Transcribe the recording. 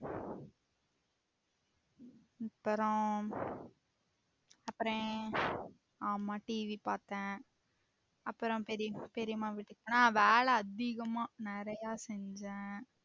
அப்பறம் அப்பரோ ஆமா TV பாத்தேன் அப்பரம் பெரிம பெரிம்மா வீட்டுக்கு போனே ஆஹ் வேலை அதிகமா நெறைய செஞ்சேன்